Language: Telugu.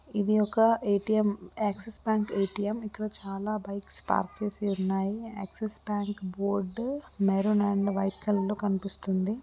ఇది ఒక ఏటీఎం యాక్సిస్ బ్ఇది ఒక ఏటీఎం యాక్సిస్ బ్యాంక్ ఎటిఎం ఇంట్లో చాలా బైక్ స్టార్ట్ చేసి ఉన్నాయి .యాక్సిస్ బ్యాంక్ బోర్డు మెరూన్ లో కనిపిస్తుంది.